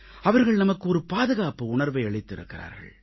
அவர்கள் நமக்கு ஒரு பாதுகாப்பு உணர்வை அளித்திருக்கிறார்கள்